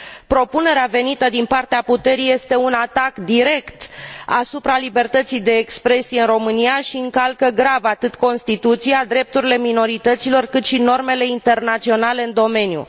Propunerea venită din partea puterii este un atac direct asupra libertății de expresie din România și încalcă grav atât Constituția, drepturile minorităților, cât și normele internaționale în domeniu.